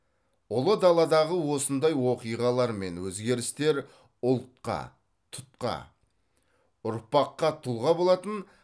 ұлы даладағы осындай оқиғалар мен өзгерістер ұлтқа тұтқа ұрпаққа тұлға болатын